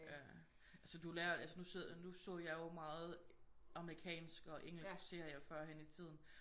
Ja altså du lærer altså nu sidder nu så jeg jo meget amerikansk og engelsk serie førhen i tiden